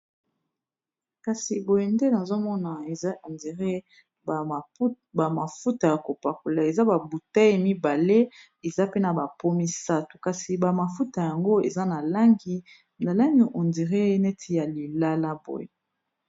kasi boye nde nazomona eza hendiré bamafuta ya kopakola eza babutei mibale eza pena bapo misato kasi bamafuta yango eza na langi na langi ondiré neti ya lilala boye